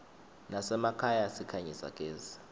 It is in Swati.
nasemakhaya sikhanyisa gezi